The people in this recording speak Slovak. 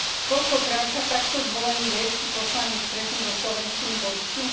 Koľkokrát sa takto zvolený grécky poslanec stretne so slovenskými voličmi?